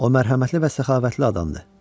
O, mərhəmətli və səxavətli adamdır.